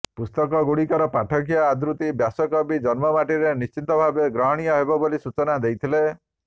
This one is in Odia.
ପୁସ୍ତକଗୁଡ଼ିକର ପାଠକୀୟ ଆଦୃତି ବ୍ୟାସକବିଙ୍କ ଜନ୍ମମାଟିରେ ନିଶ୍ଚିତ ଭାବରେ ଗ୍ରହଣୀୟ ହେବ ବୋଲି ସୂଚନା ଦେଇଥିଲେ